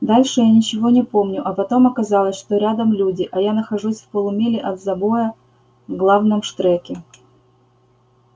дальше я ничего не помню а потом оказалось что рядом люди а я нахожусь в полумиле от забоя в главном штреке